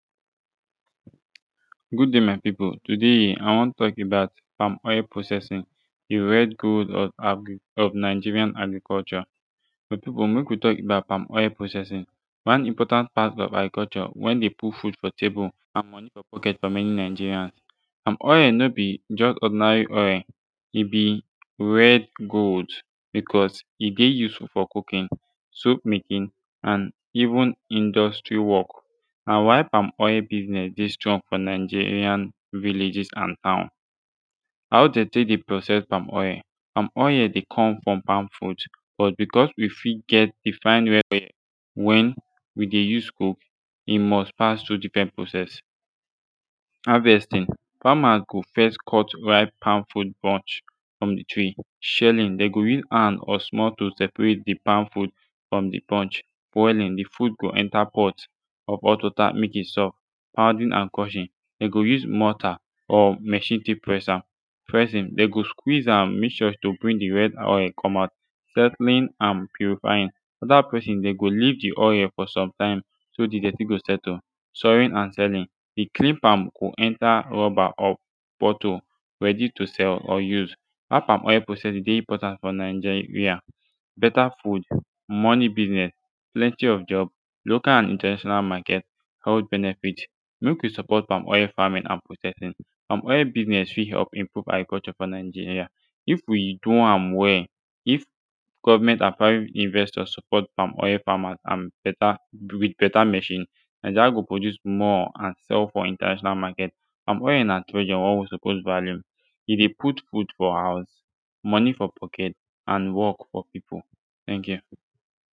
good dai my pipu today i tok about palm oil processing a rare gold of agric of nigerian agriculture my pipu mek wi tok about palm oil processing one important part of agriculture wen dey put food for table and monie fo pocket fo many nigerians palm oil no bi jus ordinary oil e bi red gold bicuz e de useful fo cooking soap making and even industry wok na why palm oil bizness de strong fo nigerian villages and town how dem tek dey process palm oil palm oil de cum from palm fruit but bicuz wi fit get de fine red oil wen wi de use cook e must pass tru difren process havestin famas go fess cut ripe palm fruit bunch frum de tree shelling dem go use hand or small tool seprate de palm fruit frum de bunch boilin de frut go enta pot or hot wata mek e soft pounding and crushing dem go use mortar or machine tek press am pressing dem go squeeze am mek sure to bring de red oil cum out settling and puryfying afta pressing dem go leave de oil fo somtim so de dirti go settle sorting and sellin de clean part go enta rubber or bottle readi to sell or use why palm oil processing dey important fo naija beta food monie biznes plenti of job local and international maket health benefits mek wi support palm oil famin and processing palm oil biznes fit help improve agriculture fo nigeria if wi do am wel if govment and private investors support palm oil famas and beta wit beta machine nigeria go produce more and sell fo international maket palm oil na treasure wey wi suppose value e de put food fo house monie fo pocket and work fo pipu teink yu